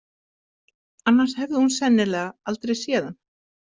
Annars hefði hún sennilega aldrei séð hann.